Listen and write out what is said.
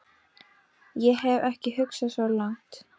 Ég hef ekki hugsað svo langt.